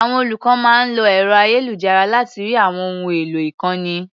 Àwọn olùkọ́ máa ń lo ẹ̀ro-ayélujára láti rí àwọn ohun èlò ìkọ́ni.